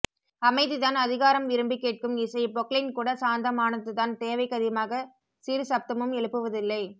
அமைதிதான் அதிகாரம் விரும்பிக் கேட்கும் இசை பொக்லைன்கூட சாந்தமானதுதான் தேவைக்கதிமாகச் சிறு சப்தமும் எழுப்புவதில்லை